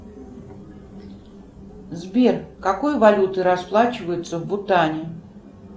сбер какой валютой расплачиваются в бутане